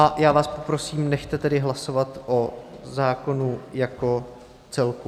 A já vás poprosím, nechte tedy hlasovat o zákonu jako celku.